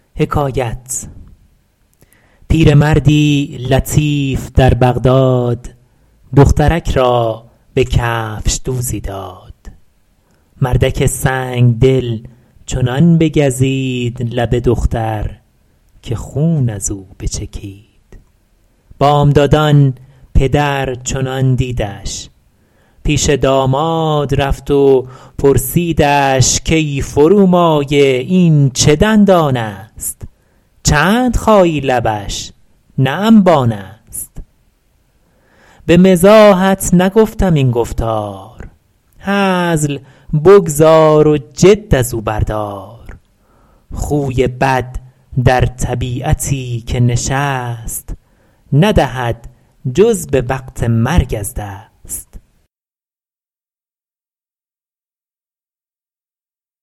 پیرمردی لطیف در بغداد دخترک را به کفشدوزی داد مردک سنگدل چنان بگزید لب دختر که خون از او بچکید بامدادان پدر چنان دیدش پیش داماد رفت و پرسیدش کای فرومایه این چه دندان است چند خایی لبش نه انبان است به مزاحت نگفتم این گفتار هزل بگذار و جد از او بردار خوی بد در طبیعتی که نشست ندهد جز به وقت مرگ از دست